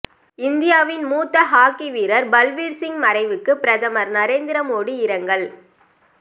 இந்தியாவின் மூத்த ஹாக்கி வீரர் பல்பீர் சிங் மறைவுக்கு பிரதமர் நரேந்திர மோடி இரங்கல்